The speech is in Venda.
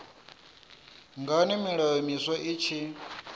ngani milayo miswa i tshi